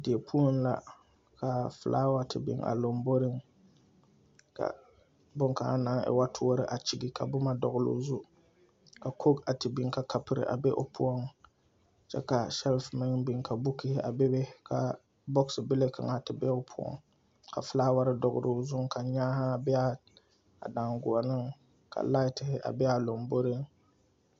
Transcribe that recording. Die poɔ la ka feelaawa te biŋ a lamboriŋ ka boŋ kaŋa naŋ e wo toɔre a kyigi ka boma dɔɔle o zu ka kogi a biŋ ka kapiri a be o poɔ kyɛ ka NA meŋ bukihii a be be ka NA bile kaŋa te be o poɔ ka feelaaware doɔle o zu ka nyaaha be a daŋgoɔne ka NA be a lamboriŋ